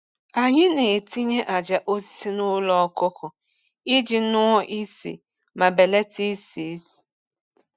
Anyị na-etinye ájá osisi n’ụlọ ọkụkọ iji ṅụọ nsị ma belata isi ísì.